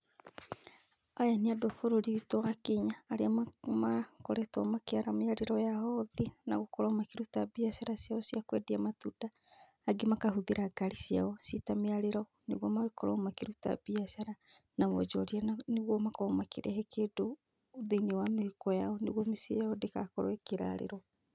Aya nĩ andũ a bũrũri witũ wa Kenya arĩa makoretwo makĩara mĩarĩro yao thĩ na gũkorwo makĩruta biacara ciao cia kwendia matunda. Angĩ makahũthĩra ngari ciao ciĩ ta mĩarĩro nĩguo makorwo makĩruta biacara, na wonjoria na nĩguo makorwo makĩrehe kĩndũ thĩiniĩ wa mĩhuko yao, nĩguo mĩciĩ yao ndĩgakorwo ĩkĩrarĩrwo.